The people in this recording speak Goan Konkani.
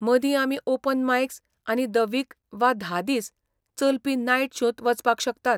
मदीं आमी ओपन मायक्स आनी द वीक वा धा दीस चलपी नायट शोंत वचपाक शकतात.